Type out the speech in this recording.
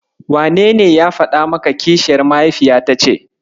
Wanene ya faɗa maka kishiyar mahaifiyata ce?